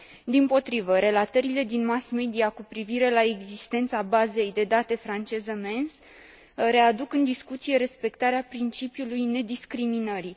Dimpotrivă, relatările din mass media cu privire la existența bazei de date franceză MENS readuc în discuție respectarea principiului nediscriminării.